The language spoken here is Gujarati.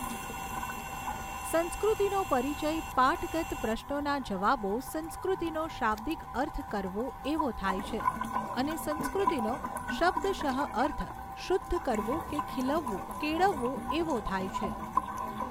સંસ્કૃતિનો પરિચય પાઠગત પ્રશ્નોના જવાબો સંસ્કૃતિનો શાબ્દિક અર્થ કરવું એવો થાય છે અને સંસ્કૃતિનો શબ્દશઃ અર્થ શુદ્ધ કરવું કે ખીલવવું કેળવવું એવો થાય છે.